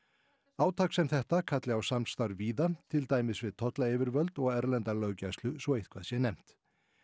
átak sem þetta kalli á samstarf víða til dæmis við tollayfirvöld og erlenda löggæslu svo eitthvað sé nefnt